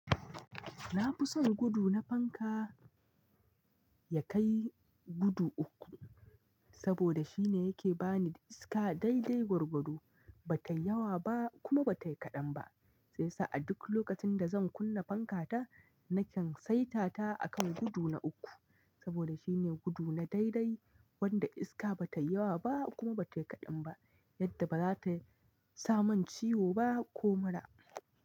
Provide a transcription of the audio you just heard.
Na fi son gudu na fanka ya kai gudu uku, saboda shine yake bani iska dai-dai gwargwado, ba ta yawa ba kuma ba ta yi kaɗan ba. Sai sa a duk lokacin da zan kunna fanka ta, na kyan saita ta akan gudu na uku. Saboda shine gudu na dai-dai wanda iska ba ta yawa ba kuma ba ta yi kaɗan ba, yadda ba za ta sa man ciwo ba ko mura.